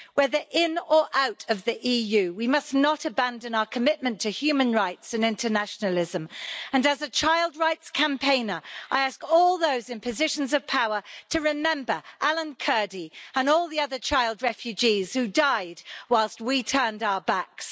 Whether in or out of the EU, we must not abandon our commitment to human rights and internationalism, and as a child rights campaigner I ask all those in positions of power to remember Alan Kurdi and all the other child refugees who died whilst we turned our backs.